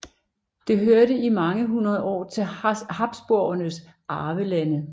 Det hørte i mange hundrede år til Habsburgernes arvelande